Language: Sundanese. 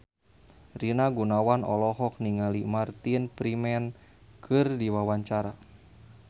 Rina Gunawan olohok ningali Martin Freeman keur diwawancara